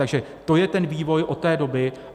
Takže to je ten vývoj od té doby.